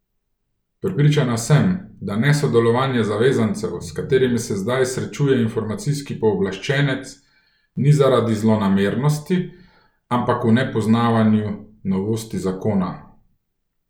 Prepričana sem, da nesodelovanje zavezancev, s katerim se zdaj srečuje informacijski pooblaščenec, ni zaradi zlonamernosti, ampak v nepoznavanju novosti zakona.